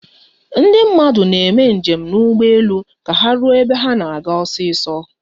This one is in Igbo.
Ndị mmadụ na-eme njem na ugbu elu ka ha ruo ebe ha na-aga osiso